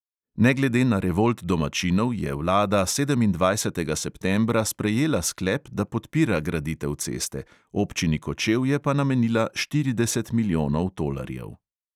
Ne glede na revolt domačinov je vlada sedemindvajsetega septembra sprejela sklep, da podpira graditev ceste, občini kočevje pa namenila štirideset milijonov tolarjev.